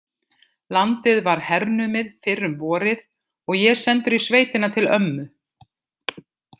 Landið var hernumið fyrr um vorið og ég sendur í sveitina til ömmu.